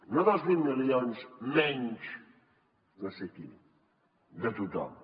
no dels vuit milions menys no sé qui de tothom